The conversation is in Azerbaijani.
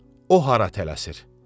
O hara tələsir?